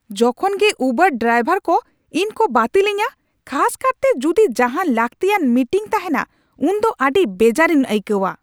ᱡᱚᱠᱷᱚᱱ ᱜᱮ ᱩᱵᱟᱨ ᱰᱨᱟᱭᱵᱷᱟᱨ ᱠᱚ ᱤᱧ ᱠᱚ ᱵᱟᱹᱛᱤᱞᱤᱧᱟᱹ, ᱠᱷᱟᱥᱠᱟᱨᱛᱮ ᱡᱩᱫᱤ ᱡᱟᱦᱟᱱ ᱞᱟᱹᱠᱛᱤᱭᱟᱱ ᱢᱤᱴᱤᱝ ᱛᱟᱦᱮᱱᱟ ᱩᱱᱫᱚ ᱟᱹᱰᱤ ᱵᱮᱡᱟᱨᱤᱧ ᱟᱹᱭᱠᱟᱹᱣᱟ ᱾